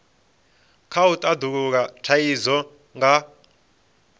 kha u tandulula thaidzo nga